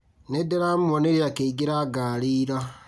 Nĩndĩramuonire akĩingĩra ngari ira